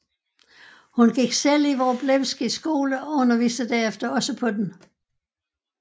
Hun gik selv i Wroblewskys skole og underviste derefter også på den